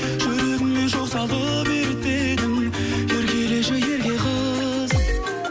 жүрегіме жол салып ерітпедің еркелеші ерке қыз